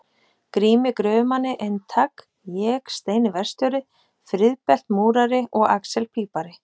Grími gröfumanni eintak, ég, Steini verkstjóri, Friðbert múrari og axel pípari.